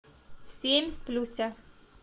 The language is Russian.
семь плюся